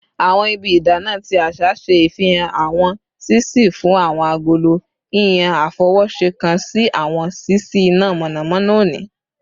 Awọn ibi idana ti aṣa ṣe ifihan awọn ṣiṣii fun awọn agolo, yiyan afọwọṣe kan si awọn ṣiṣi ina mọnamọna oni